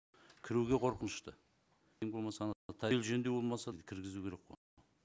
кіруге қорқынышты ең болмаса ана жөндеу болмаса кіргізу керек қой